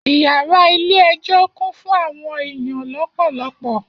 Iyara ile ejo kún fún àwọn eyan lopolopo